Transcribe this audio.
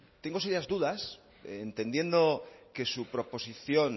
tengo serias dudas entendiendo que su proposición